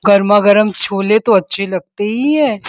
गरमा-गरम छोले तो अच्छे लगते ही है।